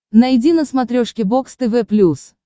найди на смотрешке бокс тв плюс